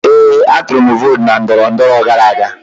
Ee, atụrụ m vootu na ndọrọndọrọ gara aga.